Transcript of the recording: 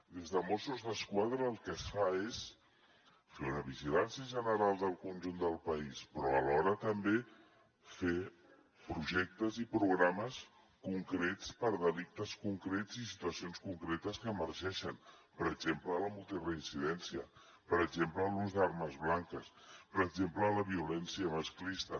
des de mossos d’esquadra el que es fa és fer una vigilància general del conjunt del país però alhora també fer projectes i programes concrets per a delictes concrets i situacions concretes que emergeixen per exemple la multireincidència per exemple l’ús d’armes blanques per exemple la violència masclista